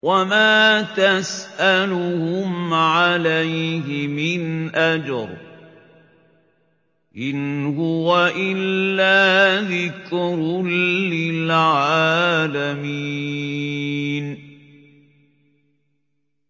وَمَا تَسْأَلُهُمْ عَلَيْهِ مِنْ أَجْرٍ ۚ إِنْ هُوَ إِلَّا ذِكْرٌ لِّلْعَالَمِينَ